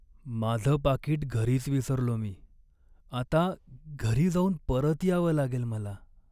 माझं पाकीट घरीच विसरलो मी. आता घरी जाऊन परत यावं लागेल मला.